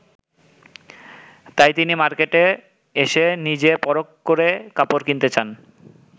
তাই তিনি মার্কেটে এসে নিজে পরখ করে কাপড় কিনতে চান।